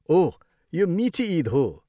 ओह! यो मिठी इद हो।